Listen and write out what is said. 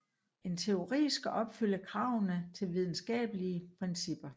En teori skal opfylde kravene til videnskabelige principper